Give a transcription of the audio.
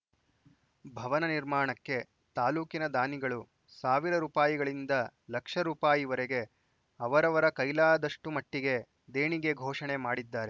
ಭವನ ನಿರ್ಮಾಣಕ್ಕೆ ತಾಲೂಕಿನ ದಾನಿಗಳು ಸಾವಿರ ರೂಪಾಯಿಗಳಿಂದ ಲಕ್ಷ ರೂಪಾಯಿವರೆಗೆ ಅವರವರ ಕೈಲಾದಷ್ಟುಮಟ್ಟಿಗೆ ದೇಣಿಗೆ ಘೋಷಣೆ ಮಾಡಿದ್ದಾರೆ